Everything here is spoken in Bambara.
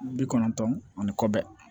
Bi kɔnɔntɔn ani kɔ bɛ